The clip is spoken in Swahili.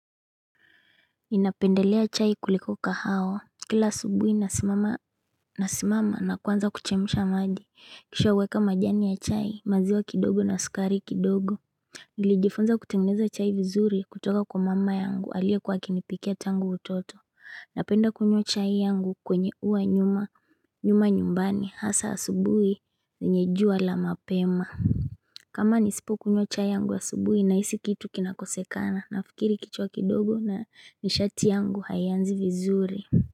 Ninapendelea chai kulikoka kahawa kila subuhi nasimama na kwanza kuchemdha maji kisha uweka majani ya chai maziwa kidogo na sukari kidogo Nilijifunza kutengeneza chai vizuri kutoka kwa mama yangu aliyekuwa akinipikia tangu utoto Napenda kunywa chai yangu kwenye huwa nyuma nyuma nyumbani hasa asubuhi zinye jua la mapema kama nisipo kunywa chai yangu aubuhi nahisi kitu kinakosekana nafikiri kichwa kidogo na nishati yangu hayanzi vizuri.